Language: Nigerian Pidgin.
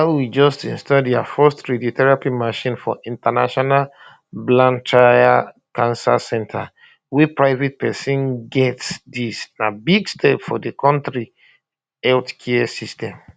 malawi just install dia first radiotherapy machine for international blantyre cancer centre wey private pesin get dis na big step for di kontri healthcare system